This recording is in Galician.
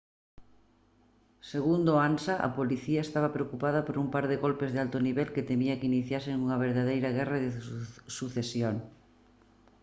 segundo ansa: «a policía estaba preocupada por un par de golpes de alto nivel que temían que iniciasen unha verdadeira guerra de sucesión